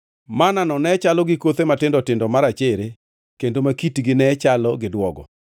Manna-no ne chalo gi kothe matindo tindo marachere kendo ma kitgi ne chalo gi duogo.